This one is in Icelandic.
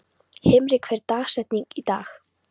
Himri, hver er dagsetningin í dag?